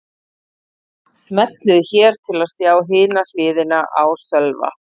Smellið hér til að sjá hina hliðina á Sölva